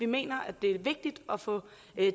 mener det er vigtigt at få